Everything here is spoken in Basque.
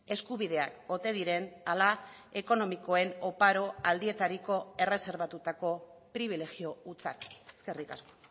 eskubideak ote diren ala ekonomikoen oparo aldietariko erreserbatutako pribilegio hutsak eskerrik asko